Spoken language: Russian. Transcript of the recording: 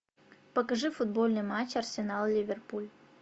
покажи футбольный матч арсенал ливерпуль